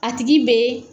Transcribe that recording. A tigi bɛ